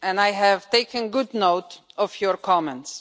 I have taken good note of your comments.